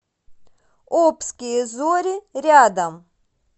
обские зори рядом